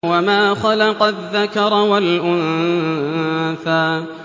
وَمَا خَلَقَ الذَّكَرَ وَالْأُنثَىٰ